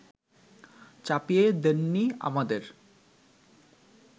চাপিয়ে দেননি আমাদের